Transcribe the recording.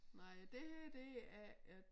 Nej det her det er et